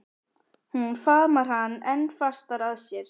Hún faðmar hann enn fastar að sér.